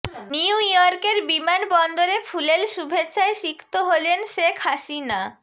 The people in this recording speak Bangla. নিউ ইয়র্কের বিমানবন্দরে ফুলেল শুভেচ্ছায় সিক্ত হলেন শেখ হাসিনা